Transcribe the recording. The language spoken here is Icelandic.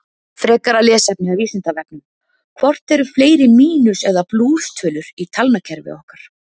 Frekara lesefni af Vísindavefnum: Hvort eru fleiri mínus- eða plústölur í talnakerfi okkar?